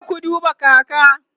kuje ku duba kaka!